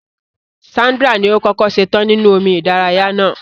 Sandra ni o kọkọ ṣetan ninu omi ìdárayá náà.